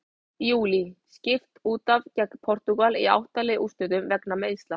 Júlí: Skipt útaf gegn Portúgal í átta lið úrslitum vegna meiðsla.